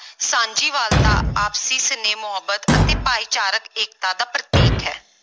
ਸਾਂਝੀਵਾਲਤਾ, ਆਪਸੀ ਸਨੇਹ, ਮੁਹੱਬਤ ਅਤੇ ਭਾਈਚਾਰਕ ਏਕਤਾ ਦਾ ਪ੍ਰਤੀਕ ਹੈ।